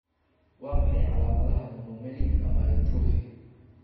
Waa maxay calaamadaha iyo calaamadaha Monomelic amyotrophy?